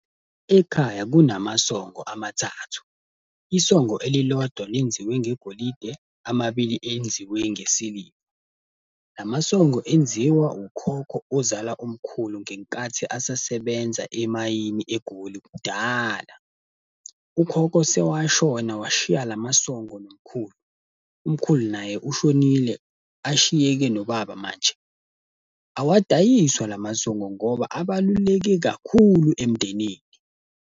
Ekhaya kunamasongo amathathu. Isongo elilodwa lenziwe ngegolide, amabili enziwe ngesiliva. Lamasongo enziwa ukhokho ozala umkhulu ngenkathi asasebenzi emayini eGoli kudala. Ukhokho sewashona washiya lamasongo nomkhulu, umkhulu naye ushonile, ashiyeke nobaba manje. Awadayiswa lamasongo ngoba abaluleke kakhulu emndenini.